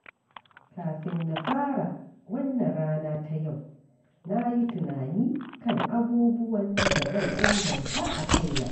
Kafin na fara wannan rana ta yau, na yi tunani kan abubuwan da zan inganta a kaina.